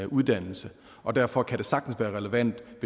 uddannelse og derfor kan det sagtens være relevant